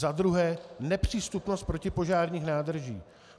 Za druhé, nepřístupnost protipožárních nádrží.